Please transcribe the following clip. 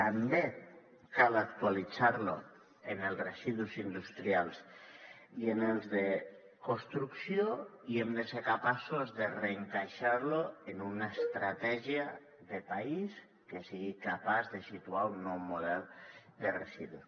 també cal actualitzar lo en els residus industrials i en els de construcció i hem de ser capaços de reencaixar lo en una estratègia de país que sigui capaç de situar un nou model de residus